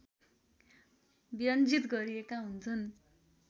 व्यञ्जित गरिएका हुन्छन्